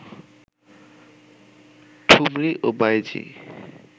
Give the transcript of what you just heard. ঠুমরী ও বাঈজী